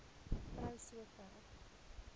vrou so ver